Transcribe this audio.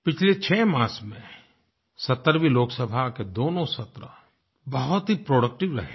पिछले छः मास में 17वीं लोकसभा के दोनों सदनों बहुत ही प्रोडक्टिव रहे हैं